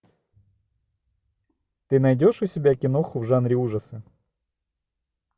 ты найдешь у себя киноху в жанре ужасы